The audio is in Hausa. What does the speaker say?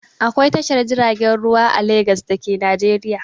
Akwai Tashar jiragen ruwa a Legas da ke Najeriya.